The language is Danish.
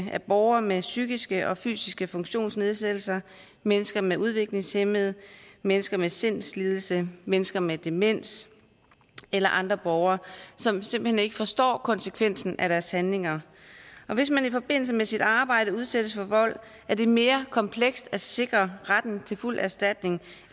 af borgere med psykiske og fysiske funktionsnedsættelser mennesker med udviklingshæmning mennesker med sindslidelse mennesker med demens eller andre borgere som simpelt hen ikke forstår konsekvensen af deres handlinger hvis man i forbindelse med sit arbejde udsættes for vold er det mere komplekst at sikre retten til fuld erstatning